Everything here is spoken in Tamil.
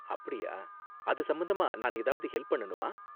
அப்படியா. அது சம்பந்தமா நான் ஏதாவது ஹெல்ப் பண்ணனுமா?